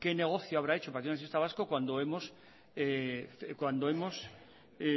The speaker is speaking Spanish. qué negocio habrá hecho el partido nacionalista vasco cuando hemos